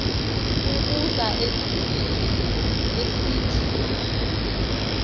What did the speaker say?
ukuza ezimbizweni esithi